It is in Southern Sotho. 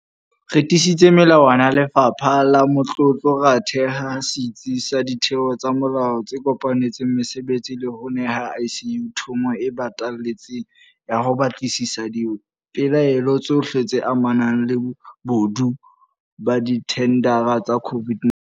Re tiisitse melawana ya Lefapha la Matlotlo, ra theha setsi sa ditheo tsa molao tse kopanetseng mosebetsi le ho neha SIU thomo e batalletseng ya ho batlisisa dipelaelo tsohle tse amanang le bobodu ba dithendara tsa COVID-19.